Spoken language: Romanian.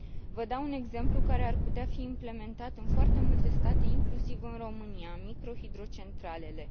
Vă dau un exemplu care ar putea fi implementat în foarte multe state, inclusiv în România microhidrocentralele.